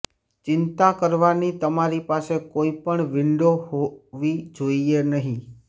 ચિંતા કરવાની તમારી પાસે કોઈ પણ વિંડો હોવી જોઈએ નહીં